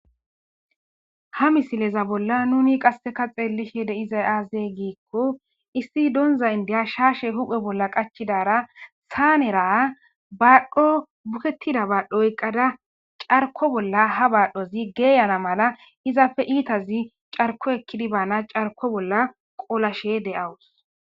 Ha misileza bolla nuni qasseka xeellishe de7izay aaze giikko issi donza inddiya shaashe huphe bolla qachidaara saanera baadhdho bukettida baadhdho oyqqada carko bolla ha baadhdhozi geeyana mala izappe iitazi carko ekkidi baana carko bolla qolashe de7awus.